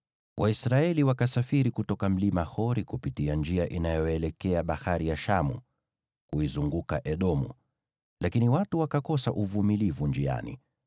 Waisraeli wakasafiri kutoka mlima Hori kupitia njia inayoelekea Bahari ya Shamu, kuizunguka Edomu. Lakini watu wakakosa uvumilivu njiani,